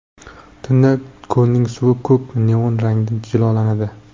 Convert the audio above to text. Tunda ko‘lning suvi ko‘k neon rangda jilolanadi.